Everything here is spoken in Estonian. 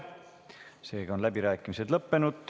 Seega on läbirääkimised lõppenud.